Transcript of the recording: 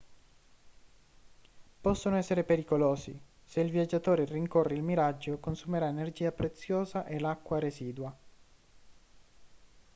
possono essere pericolosi se il viaggiatore rincorre il miraggio consumerà energia preziosa e l'acqua residua